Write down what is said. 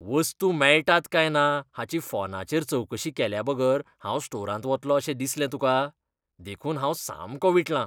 वस्तू मेळटात काय ना हाची फोनाचेर चवकशी केल्याबगर हांव स्टोरांत वतलों अशें दिसलें तुकां, देखून हांव सामको विटलां.